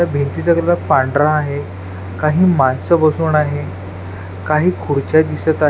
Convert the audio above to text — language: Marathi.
या भिंतीचा कलर पांढरा आहे काही माणसं बसून आहे काही खुर्च्या दिसत आहे.